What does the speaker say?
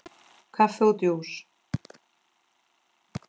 Kaffi og djús.